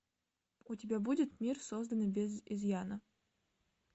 у тебя будет мир созданный без изъяна